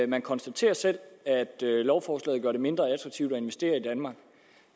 man konstaterer selv at lovforslaget gør det mindre attraktivt at investere i danmark